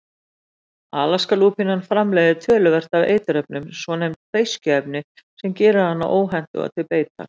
Alaskalúpína framleiðir töluvert af eiturefnum, svonefnd beiskjuefni, sem gerir hana óhentuga til beitar.